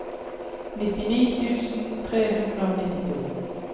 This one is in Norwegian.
nittini tusen tre hundre og nittito